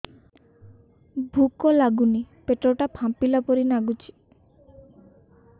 ଭୁକ ଲାଗୁନି ପେଟ ଟା ଫାମ୍ପିଲା ପରି ନାଗୁଚି